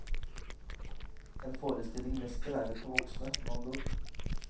En forestilling mest beregnet for voksne, med andre ord.